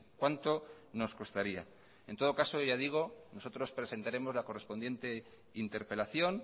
cuánto nos costaría en todo caso ya digo nosotros presentaremos la correspondiente interpelación